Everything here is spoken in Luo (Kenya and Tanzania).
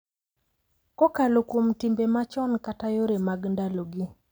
Kokalo kuom timbe machon kata yore mag ndalogi.